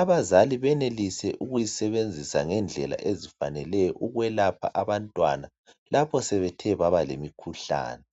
abazali benelise ukuyisebenzisa ngendlela ezifaneleyo, ukwelapha abantwana. Lapha sebethe baba lemikhuhlane.